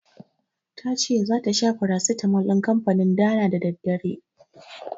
Tace zata sha farasitamol din kanfanin Dana da daddare.